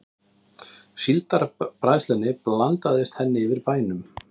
Síldarbræðslunni blandaðist henni yfir bænum.